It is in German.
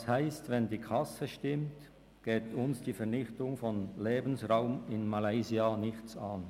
Das heisst, wenn die Kasse stimmt, geht uns die Vernichtung von Lebensraum in Malaysia nichts an.